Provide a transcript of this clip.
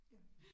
Ja